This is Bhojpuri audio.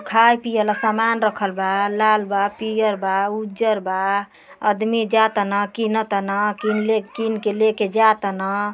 खाए पीए ल समान रखल बा लाल बा पीअर बा उज्जर बा आदमी जा तना किन तना किन्ले किन के लेके जा तना।